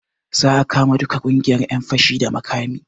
Za a kama duka ƙungiyar ƴan fashi da makami